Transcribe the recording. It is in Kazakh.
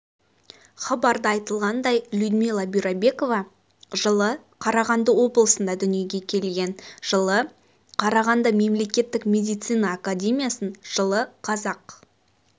хабарда айтылғандай людмила бюрабекова жылы қарағанды облысында дүниеге келген жылы қарағанды мемлекеттік медицина академиясын жылы қазақ